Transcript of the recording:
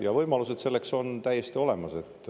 Ja võimalused selleks on täiesti olemas.